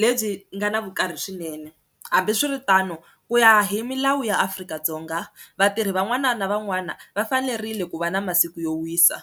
lebyi nga na vukarhi swinene, hambiswiritano ku ya hi milawu ya Afrika-Dzonga vatirhi van'wana na van'wana va fanerile ku va na masiku yo wisa.